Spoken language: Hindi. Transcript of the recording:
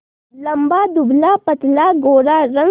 लंबा दुबलापतला गोरा रंग